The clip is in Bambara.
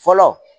Fɔlɔ